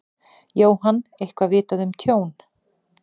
Jóhann: Eitthvað vitað um tjón?